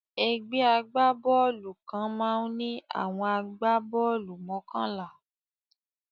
Ẹgbẹ́ agbá-bọ́ọ́lù kan máa ń ní àwọn agbá-bọ́ọ́lù mọ́kànlá.